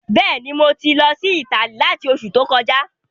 Bẹ́ẹ̀ni, mo ti lọ sí Italy látí Oṣù to kọjá